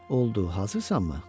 Oldu, hazırsanmı?